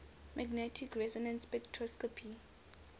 magnetic resonance spectroscopy